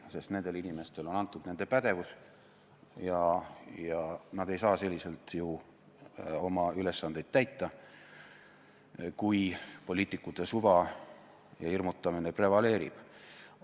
Sest nendele inimestele on antud nende pädevus ja nad ei saa selliselt oma ülesandeid täita, kui poliitikute suva ja hirmutamine prevaleerib.